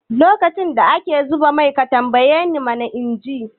Lokacin da ake zuba mai ka tambayi man inji?